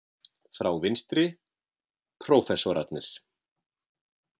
Frá vinstri: Prófessorarnir